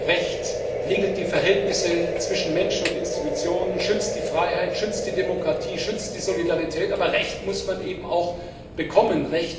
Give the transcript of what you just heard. Recht regelt die Verhältnisse zwischen Menschen und Institutionen, schützt die Freiheit, schützt die Demokratie, schützt die Solidarität, aber Recht muss man eben auch bekommen.